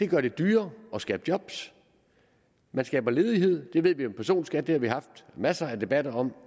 gør det dyrere at skabe job man skaber ledighed det ved vi personskat det har vi haft masser af debatter om